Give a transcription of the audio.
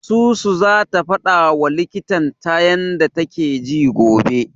Susu zata faɗawa likitan ta yanda take ji gobe.